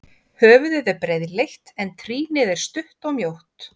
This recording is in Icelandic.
Höfuðið er breiðleitt en trýnið er stutt og mjótt.